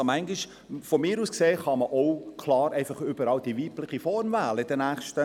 Aus meiner Sicht könnte man in den nächsten x Jahren auch klar überall die weibliche Form nehmen.